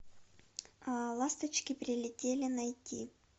ласточки прилетели найти